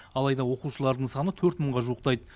алайда оқушылардың саны төрт мыңға жуықтайды